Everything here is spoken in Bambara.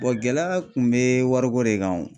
gɛlɛya kun bɛ wariko de kan o.